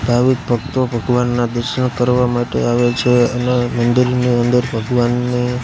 ભાવૃક ભક્તો ભગવાનના દર્શન કરવા માટે આવેલ છે અને મંદિરની અંદર ભગવાનને--